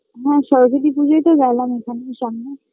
হ্যাঁ সরস্বতী পুজোই তো ভাবলাম ওখানে সামনে